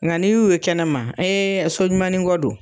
Ŋa n'i y'u ye kɛnɛma so ɲumanin kɔ don.